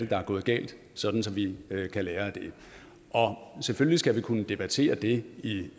der er gået galt sådan at vi kan lære af det selvfølgelig skal vi kunne debattere det